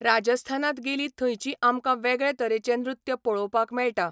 राजस्थानांत गेली थंयची आमकां वेगळे तरेचें नृत्य पळोवंक मेळटा.